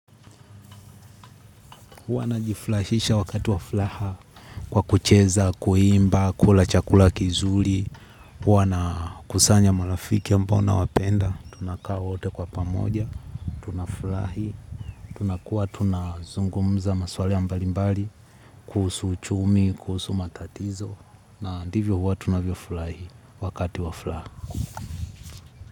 Huwa najifurahisha wakati wa furaha kwa kucheza, kuimba, kula chakula kizuri. Huwa nakusanya marafiki ambao nawapenda. Tunaka wote kwa pamoja, tunafurahi, tunakuwa, tunazungumza maswali mbali mbali, kuhusu uchumi, kuhusu matatizo, na ndivyo huwa tunavyo furahi wakati wa furaha.